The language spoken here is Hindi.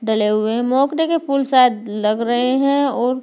डले हुए हैं मोगरे के फूल शायद लग रहे हैं और --